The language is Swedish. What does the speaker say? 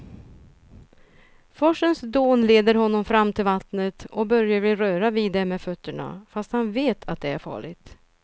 Forsens dån leder honom fram till vattnet och Börje vill röra vid det med fötterna, fast han vet att det är farligt.